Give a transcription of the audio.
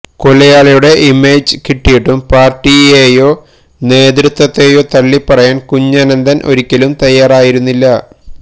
കൊലയാളിയുടെ image കിട്ടിയിട്ടും പാർട്ടിയെയോ നേതൃത്വത്തെയോ തള്ളിപ്പറയാൻ കുഞ്ഞനന്തൻ ഒരിക്കലും തയ്യാറായിരുന്നില്ല